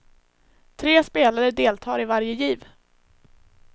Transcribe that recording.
Tre spelare deltar i varje giv.